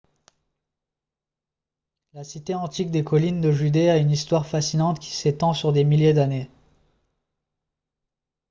la cité antique des collines de judée a une histoire fascinante qui s'étend sur des milliers d'années